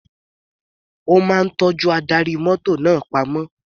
Ó máa tọ́jú ohun adarí mọ́tò náà pamọ́.